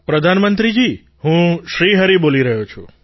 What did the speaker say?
પ્રધાનમંત્રીજી હું શ્રી હરિ બોલી રહ્યો છું